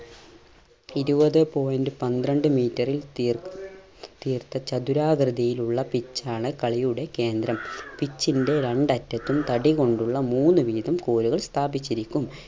ഇരുപത് point പന്ത്രണ്ട് meter ൽ തീർ തീർത്ത ചതുരാകൃതിയിലുള്ള pitch ആണ് കളിയുടെ കേന്ദ്രം pitch ൻറെ രണ്ടറ്റത്തും തടി കൊണ്ടുള്ള മൂന്ന് വീതം കോലുകൾ സ്ഥാപിച്ചിരിക്കും.